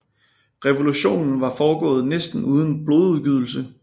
Revolutionen var foregået næsten uden blodsudgydelse